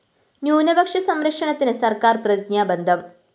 ന്യൂനപക്ഷ സംരക്ഷണത്തിന് സര്‍ക്കാര്‍ പ്രതിജ്ഞാബദ്ധം